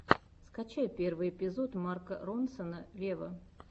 скачай первый эпизод марка ронсона вево